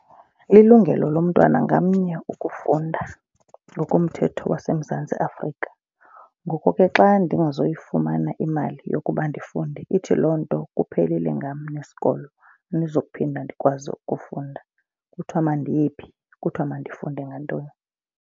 Ililungelo lomntwana ngamnye ukufunda ngokomthetho waseMzantsi Afrika. Ngoko ke xa ndingazoyifumana imali yokuba ndifunde ithi loo nto kuphelile ngam nesikolo. Andizuphinde ndikwazi ukufunda. Kuthiwa mandiye phi, kuthiwa mandifunde ngantoni?